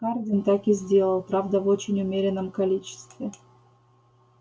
хардин так и сделал правда в очень умеренном количестве